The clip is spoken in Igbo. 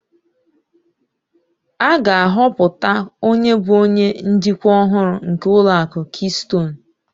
A ga-ahọpụta onye bụ onye njikwa ọhụrụ nke ụlọ akụ kistonu